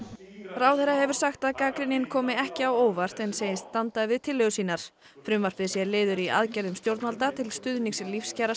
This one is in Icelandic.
ráðherra hefur sagt að gagnrýnin komi ekki á óvart en segist standa við tillögur sínar frumvarpið sé liður í aðgerðum stjórnvalda til stuðnings